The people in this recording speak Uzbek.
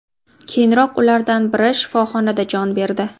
Keyinroq ulardan biri shifoxonada jon berdi.